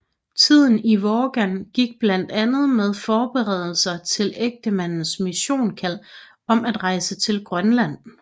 Tiden i Vågan gik blandt andet med forberedelser til ægtemandens missionskald om at rejse til Grønland